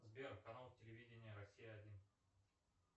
сбер канал телевидения россия один